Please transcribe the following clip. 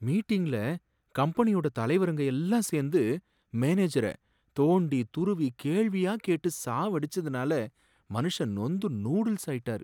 மீட்டிங்ல கம்பெனியோட தலைவருங்க எல்லாம் சேர்ந்து மேனேஜர தோண்டித் துருவி கேள்வியா கேட்டு சாவடிச்சதுனால மனுஷன் நொந்து நூடுல்ஸ் ஆயிட்டாரு